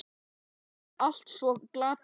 Þetta var allt svo glatað.